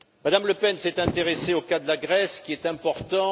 Mme Le Pen s'est intéressée au cas de la Grèce, qui est important.